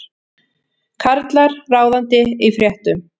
Karlar ráðandi í fréttum